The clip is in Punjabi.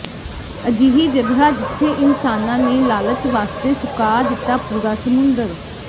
ਅਜਿਹੀ ਜਗ੍ਹਾ ਜਿੱਥੇ ਇਨਸਾਨਾਂ ਨੇ ਲਾਲਚ ਵਾਸਤੇ ਸੁਕਾ ਦਿੱਤਾ ਪੂਰਾ ਸਮੁੰਦਰ